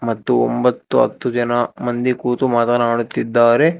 ಮತ್ತು ಒಂಬತ್ತು ಹತ್ತು ಜನ ಮಂದಿ ಕೂತು ಮಾತನಾಡುತ್ತಿದ್ದಾರೆ.